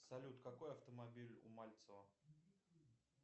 салют какой автомобиль у мальцева